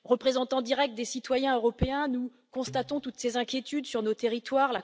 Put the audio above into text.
Représentants directs des citoyens européens, nous constatons toutes ces inquiétudes sur nos territoires.